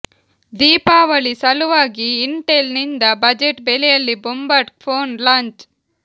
ದೀಪಾವಳಿ ಸಲುವಾಗಿ ಇಂಟೆಲ್ ನಿಂದ ಬಜೆಟ್ ಬೆಲೆಯಲ್ಲಿ ಬೊಂಬಾಟ್ ಫೋನ್ ಲಾಂಚ್